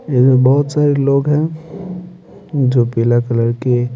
इधर बहुत सारे लोग हैं जो पीला कलर के --